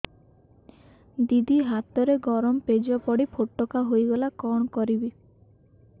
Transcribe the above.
ଦିଦି ହାତରେ ଗରମ ପେଜ ପଡି ଫୋଟକା ହୋଇଗଲା କଣ କରିବି